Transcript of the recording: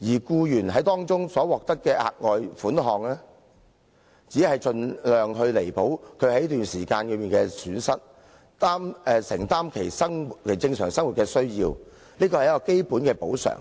僱員所獲得的額外款項，只是盡量彌補他們在這段時間的損失，以應付生活的正常開支，是一項基本的補償。